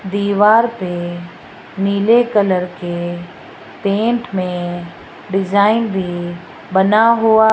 दीवार पे नीले कलर के पेंट में डिजाइन भी बना हुआ --